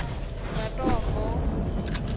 ratombo